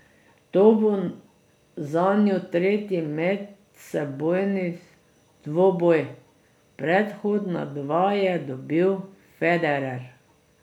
To bo zanju tretji medsebojni dvoboj, predhodna dva je dobil Federer.